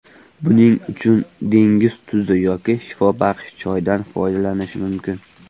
Buning uchun dengiz tuzi yoki shifobaxsh choydan foydalanish mumkin.